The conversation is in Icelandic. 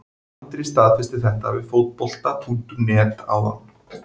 Andri staðfesti þetta við Fótbolta.net áðan.